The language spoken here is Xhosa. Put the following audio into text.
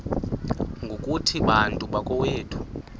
ngokuthi bantu bakowethu